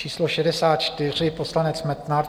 Číslo 64 - poslanec Metnar.